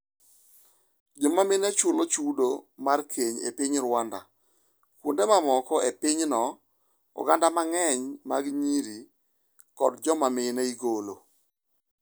Joma mine chulo chudo mar keny e piny Rwanda Kuonde mamoko e piny no, oganda mang'eny mag nyiri kod joma mine igolo.